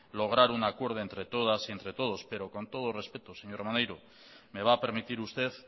lograr un acuerdo entre todas y entre todos pero con todo el respeto señor maneiro me va a permitir usted